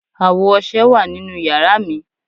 Awo ọṣẹ wa ninu yara mi